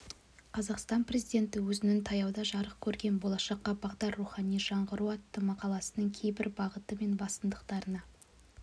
қазақстан президенті өзінің таяуда жарық көрген болашаққа бағдар рухани жаңғыру атты мақаласының кейбір бағыты мен басымдықтарына